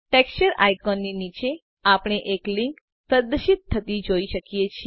texture icon ની નીચે આપણે એક લીન્ક પ્રદર્શિત થતી જોઈ શકીએ છે